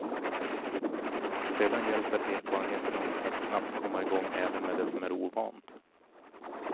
Sedan hjälper erfarenheten oss att snabbt komma i gång även med det som är ovant.